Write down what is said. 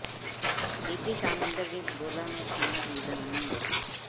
ਬੀਤੀ ਸ਼ਾਮ ਇੰਦਰਜੀਤ ਸਿੰਘ ਗੋਲਾ ਨੂੰ ਥਾਣਾ ਡਿਵੀਜ਼ਨ ਨੰ